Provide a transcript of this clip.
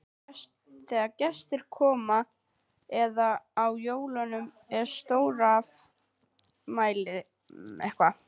Þegar gestir komu eða á jólum og stórafmælum.